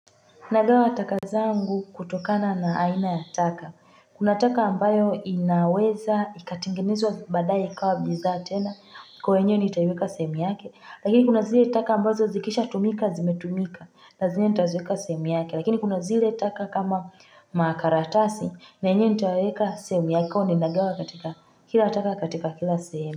Nagawa taka zangu kutokana na aina ya taka. Kuna taka ambayo inaweza ikatingenezwa baadae ikawa bidhaa tena kwa hiyo yenyewe nitaiweka sehemu yake. Lakini kuna zile taka ambazo zikisha tumika zimetumika na zenyewe nitaziweka sehemu yake. Lakini kuna zile taka kama makaratasi na enyewe nitaiweka sehemu yake kwa hiyo ninagawa katika kila taka katika kila sehemu.